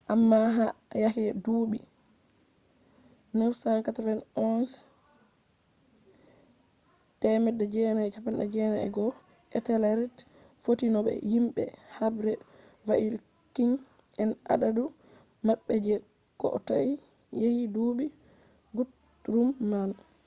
amma ha yake duuɓi 991 etelred fotti no be himɓe habre vaikins en adadu maɓɓe je kotoi yake duuɓi gutrum man